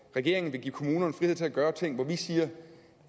regeringen vil give kommunerne frihed til at gøre ting hvor vi siger